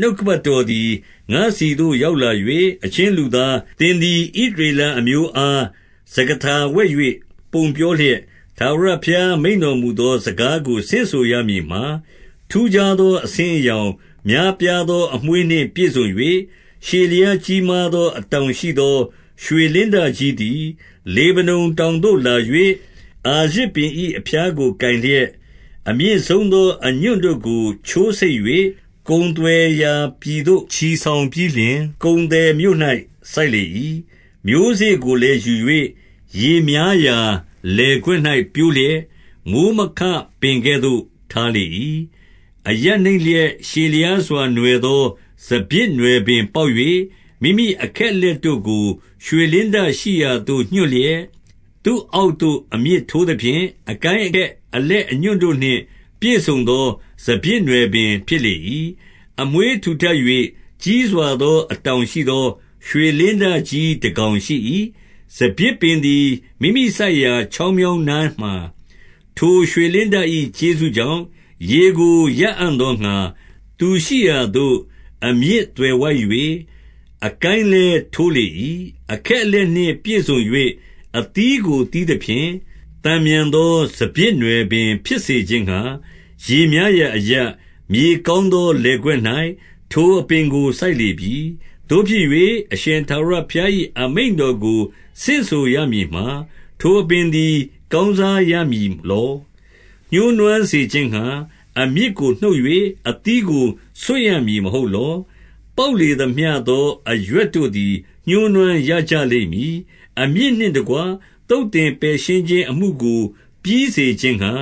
နှုတ်ကပတ်တော်သည် ငါ့ဆီသို့ ရောက်လာ၍၊ 2 အချင်းလူသား၊ သင်သည်ဣသရေလအမျိုးအား စကားထာဝှက်၍ ပုံပြောလျက်၊ 3 ထာဝရဘုရားမိန့်တော်မူသော စကားကို ဆင့်ဆိုရမည်မှာ၊ ထူးခြားသော အဆင်းအရောင်၊ များပြား သော အမွေးနှင့်ပြည့်စုံ၍၊ ရှည်လျားကြီးမားသော အတောင်ရှိသောရွှေလင်းတကြီးသည် လေဗနုန်တောင် သို့လာ၍၊ အာရဇ်ပင်၏အဖျားကိုကိုင်လျက်၊ 4 အမြင့်ဆုံးသော အညွန့်တို့ကို ချိုးဆိတ်၍ ကုန်သွယ်ရာပြည်သို့ ချီဆောင်ပြီးလျှင်၊ ကုန်သည်မြို့၌ စိုက်လေ၏။ 5 မျိုးစေ့ကိုလည်းယူ၍ ရေများရာလယ်ကွက်၌ ပျိုးလျက်၊ မိုဃ်းမခပင်ကဲ့သို့ ထားလေ၏။ 6 အရပ်နိမ့်လျက်ရှည်လျားစွာနွယ်သော စပျစ် နွယ်ပင်ပေါက်၍၊ မိမိ အခက်အလက်တို့ကို ရွှေလင်းတရှိရာ သို့ ညွှတ်လျက်၊ သူ့အောက်သို့ အမြစ်ထိုးသဖြင့်၊ အကိုင်း အခက် အလက်အညွှန့်တို့နှင့် ပြည့်စုံသော စပျစ်နွယ်ပင် ဖြစ်လေ၏။ 7 အမွေးထူထပ်၍ ကြီးစွာသော အတောင်ရှိသော ရွှေလင်းတကြီးတကောင်ရှိ၏။ စပျစ်ပင်သည်မိမိစိုက်ရာ ချောင်းမြောင်းနားမှာ ထိုရွှေလင်းတ၏ကျေးဇူးကြောင့်၊ ရေကိုရအံ့သောငှါ သူရှိရာသို့အမြစ်သွယ်ဝိုက်၍ အကိုင်း လည်း ထိုးလေ၏။ 8 အခက်အလက်နှင့်ပြည့်စုံ၍ အသီးကိုသီးသဖြင့်၊ သန်မြန်သော စပျစ်နွယ်ပင်ဖြစ်စေခြင်းငှါ ရေများရာ အရပ်၊ မြေကောင်းသောလယ်ကွက်၌ ထိုအပင်ကို စိုက်လေပြီ။ 9 သို့ဖြစ်၍၊ အရှင်ထာဝရဘုရား၏ အမိန့်တော်ကို ဆင့်ဆိုရမည်မှာ၊ ထိုအပင်သည် ကောင်းစားရမည်လော။ ညှိုးနွမ်းစေခြင်းငှါ အမြစ်ကို နှုတ်၍ အသီးကိုဆွတ်ရမည် မဟုတ်လော။ ပေါက်လေသမျှသော အရွက်တို့သည် ညှိုးနွမ်းရကြလိမ့်မည်။ အမြစ်နှင့် တကွသုတ်သင်ပယ်ရှင်း ခြင်း အမှုကိုပြီးစေခြင်းငှါ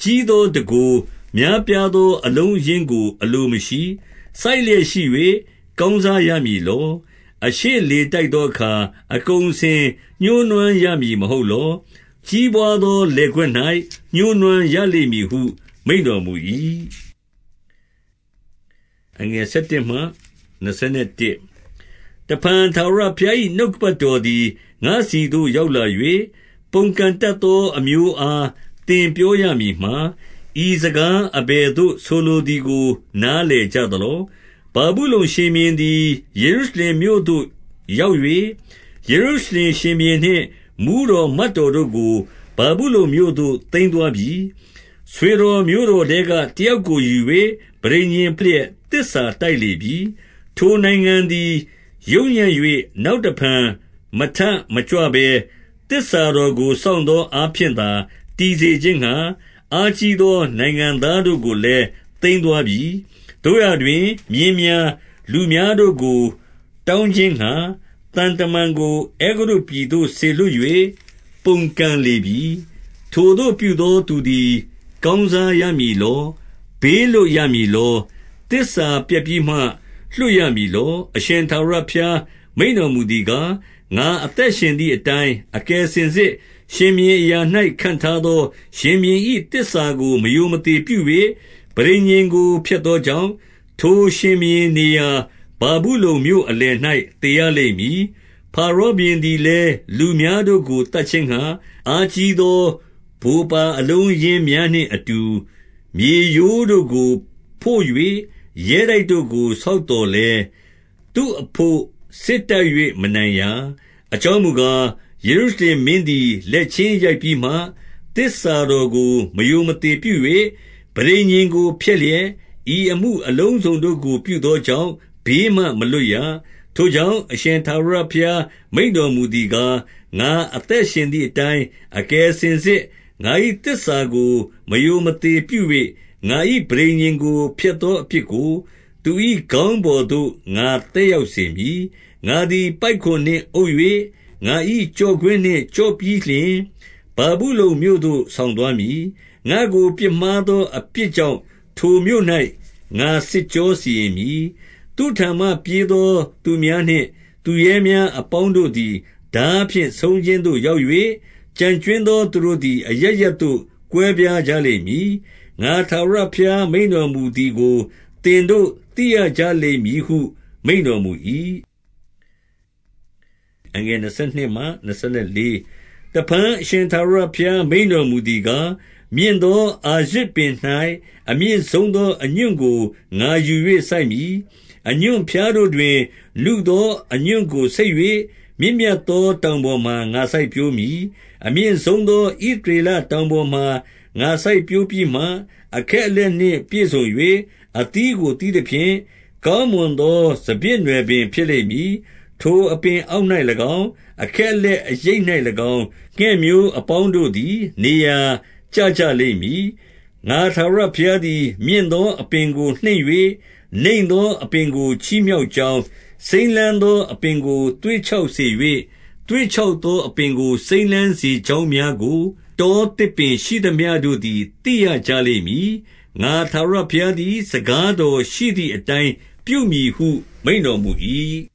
ကြီးသော တန်ခိုး၊ များပြားသော အလုံးအရင်းကို အလိုမရှိ။ 10 စိုက်လျက်ရှိ၍ ကောင်းစားရာမည်လော။ အရှေ့လေတိုက်သောအခါ အကုန်အစင်ညှိုးနွမ်းရမည် မဟုတ်လော။ ကြီးပွါးသော လယ်ကွက်၌ ညှိုးနွမ်းရ လိမ့်မည်ဟု မိန့်တော်မူ၏။ 11 တဖန်ထာဝရဘုရား၏ နှုတ်ကပတ်တော်သည် ငါ့ဆီသို့ရောက်လာ၍၊ 12 ပုန်ကန်တတ်သော အမျိုးအား သင်ပြောရ မည်မှာ၊ ဤစကားအဘယ်သို့ဆိုလိုသည်ကို နားလည်ကြ သလော။ ဗာဗုလုန်ရှင်ဘုရင်သည် ယေရုရှလင်မြို့သို့ ရောက်၍၊ ယေရုရှလင်ရှင်ဘုရင်နှင့်မှူးတော် မတ်တော် တို့ကို ဗာဗုလုန်မြို့သို့သိမ်းသွားပြီ။ 13 ဆွေတော်မျိုးတော်ထဲက တယောက်ကိုယူ၍ ပဋိညာဉ်ဖွဲ့လျက် သစ္စာတိုက်လေပြီ။ 14 ထိုနိုင်ငံသည် ယုတ်ညံ့၍နောက်တဖန်မထမကြွ ဘဲ၊ သစ္စာတော်ကို စောင့်သောအားဖြင့်သာ တည်စေခြင်း ငှါ၊ အားကြီးသောနိုင်ငံသားတို့ကိုလည်း သိမ်းသွားပြီ။ 15 သို့ရာတွင်၊ မြင်းများ၊ လူများတို့ကို တောင်းခြင်း ငှါ သံတမန်ကို အဲဂုတ္တုပြည်သို့စေလွတ်၍ ပုန်ကန်လေပြီ။ ထိုသို့ပြုသောသူသည် ကောင်းစားရမည်လော။ ဘေး လွတ်ရမည်လော။ သစ္စာဖျက်ပြီးမှလွတ်ရမည်လော။ 16 အရှင်ထာဝရဘုရားမိန့်တော်မူသည်ကား၊ ငါအသက်ရှင်သည်အတိုင်း၊ အကယ်စင်စစ် ရှင်ဘုရင် အရာ၌ ခန့်ထားသော ရှင်ဘုရင်၏သစ္စာကို မရိုမသေ ပြု၍ ပဋိညာဉ်ကိုဖျက်သောကြောင့်၊ ထိုရှင်ဘုရင်နေရာ ဗာဗုလုန်မြို့အလယ်၌သေရလိမ့်မည်။ 17 ဖာရောဘုရင်သည်လည်း လူများတို့ကို သတ် ခြင်းငှါ၊ အားကြီးသော ဗိုလ်ပါအလုံးအရင်းများနှင့်အတူ မြေရိုးတို့ကိုဖို့၍ ရဲတိုက်တို့ကို ဆောက်သော်လည်း၊ သူ့အဘို့စစ်တိုက်၍ မနိုင်ရာ။ 18 အကြောင်းမူကား၊ ယေရုရှလင်မင်းသည် လက်ချင်းရိုက်ပြီးမှ၊ သစ္စာတော်ကိုမရိုမသေပြု၍ ပဋိညာဉ်ကိုဖျက်လျက်၊ ဤအမှုအလုံးစုံတို့ကို ပြုသော ကြောင့် ဘေးမှမလွတ်ရ။ 19 ထိုကြောင့်၊ အရှင်ထာဝရဘုရား မိန့်တော်မူ သည်ကား၊ ငါအသက်ရှင်သည်အတိုင်း အကယ်စင်စစ် ငါ၏သစ္စာကို မရိုမသေပြု၍ ငါ၏ပဋိညာဉ်ကို ဖျက်သောအပြစ် ကို သူ၏ခေါင်းပေါ်သို့ ငါသက်ရောက်စေမည်။ 20 ငါသည် ပိုက်ကွန်နှင့်အုပ်၍၊ ငါ၏ကျော့ကွင်းနှင့် ကျော့ပြီးလျှင်၊ ဗာဗုလုန်မြို့သို့ဆောင်သွားမည်။ ငါ့ကို ပြစ်မှားသောအပြစ်ကြောင့် ထိုမြို့၌ ငါစစ်ကြောစီရင် မည်။ 21 သူ့ထံမှပြေးသော သူများနှင့်သူရဲများအပေါင်း တို့သည် ထားဖြင့် ဆုံးခြင်းသို့ရောက်၍၊ ကျန်ကြွင်းသော သူတို့သည် အရပ်ရပ်သို့ ကွဲပြားကြလိမ့်မည်။ ငါထာဝရ ဘုရားမိန့်တော်မူသည်ကို သင်တို့ သိရကြလိမ့်မည်ဟု မိန့်တော်မူ၏။ 22 တဖန် အရှင်ထာဝရဘုရား မိန့်တော်မူသည် ကား၊ မြင့်သော အာရဇ်ပင်၌ အမြင့်ဆုံးသော အညွန့် ကို ငါယူ၍စိုက်မည်။ အညွန့်ဖျားတို့တွင် နုသော အညွန့်ကိုဆိတ်၍၊ မြင့်မြတ်သော တောင်ပေါ်မှာ ငါစိုက် ပျိုးမည်။ 23 အမြင့်ဆုံးသော ဣသရေလတောင်ပေါ်မှာ ငါ စိုက်ပျိုးပြီးမှ၊ အခက်အလက်နှင့်ပြည့်စုံ၍ အသီးကို သီးသဖြင့်၊ ကောင်းမွန်သော စပျစ်နွယ်ပင်ဖြစ်လိမ့်မည်။ ထိုအပင်အောက်၌၎င်း၊ အခက်အလက်အရိပ်၌၎င်း၊ ငှက်မျိုးအပေါင်းတို့သည် နေရာကျကြလိမ့်မည်။ 24 ငါထာဝရဘုရားသည်မြင့်သော အပင်ကိုနှိမ့်၍၊ နိမ့်သောအပင်ကိုချီးမြှောက်ကြောင်း၊ စိမ်းလန်းသော အပင်ကို သွေ့ခြောက်စေ၍၊ သွေ့ခြောက်သောအပင်ကို စိမ်းလန်းစေကြောင်းများကို၊ တောသစ်ပင်ရှိသမျှတို့သည် သိရကြလိမ့်မည်။ ငါထာဝရဘုရားသည် စကားတော် ရှိသည်အတိုင်း ပြုမည်ဟုမိန့်တော်မူ၏။